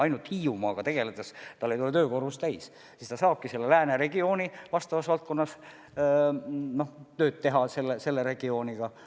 Ainult Hiiumaaga tegeledes tal ei oleks töökoormus täis ja siis ta saabki ka lääneregiooni vastavas valdkonnas, saab tööd teha ka selle regiooniga.